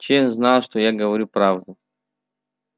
чен знал что я говорю правду